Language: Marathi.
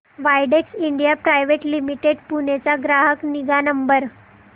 Widex India private limited Pune चा ग्राहक निगा नंबर